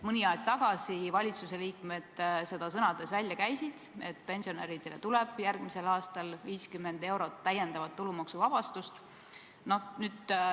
Mõni aeg tagasi käisid valitsuse liikmed sõnades välja, et pensionäridel tuleb järgmisel aastal 50 eurot täiendavat tulumaksuvabastust.